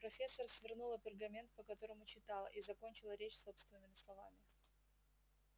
профессор свернула пергамент по которому читала и закончила речь собственными словами